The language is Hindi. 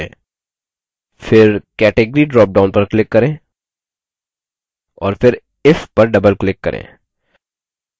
फिर category ड्रॉपडाउन पर click करें और फिर if पर double click करें